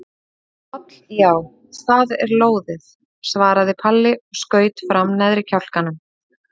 Í koll já, það er lóðið, svaraði Palli og skaut fram neðri kjálkanum.